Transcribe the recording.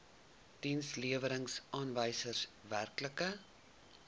dienslewerings aanwysers werklike